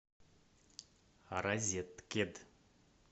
розеткед